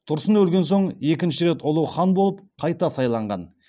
тұрсын өлген соң екінші рет ұлы хан болып қайта сайланған